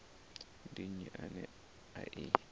ndi nnyi ane a i